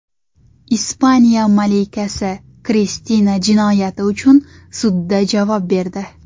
Ispaniya malikasi Kristina jinoyati uchun sudda javob berdi.